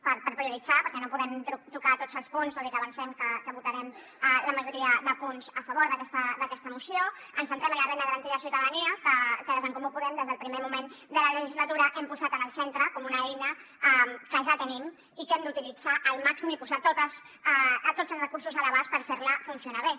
per prioritzar perquè no podem tocar tots els punts tot i que avancem que votarem la majoria de punts a favor d’aquesta moció ens centrem en la renda garantida de ciutadania que des d’en comú podem des del primer moment de la legislatura hem posat en el centre com una eina que ja tenim i que hem d’utilitzar al màxim i posar hi tots els recursos a l’abast per fer la funcionar bé